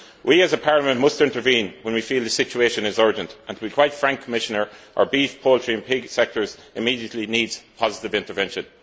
We as a Parliament must intervene when we feel the situation is urgent and, to be quite frank, Commissioner, our beef, poultry and pig sectors immediately need positive intervention.